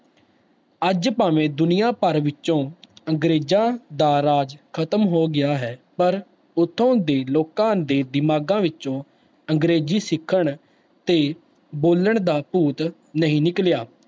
ਅੱਜ ਭਾਵੇਂ ਦੁਨੀਆਂ ਭਰ ਵਿੱਚੋਂ ਅੰਗਰੇਜ਼ਾਂ ਦਾ ਰਾਜ ਖ਼ਤਮ ਹੋ ਗਿਆ ਹੈ, ਪਰ ਉੱਥੋਂ ਦੇ ਲੋਕਾਂ ਦੇ ਦਿਮਾਗਾਂ ਵਿੱਚੋਂ ਅੰਗਰੇਜ਼ੀ ਸਿੱਖਣ ਤੇ ਬੋਲਣ ਦਾ ਭੂਤ ਨਹੀਂ ਨਿਕਲਿਆ,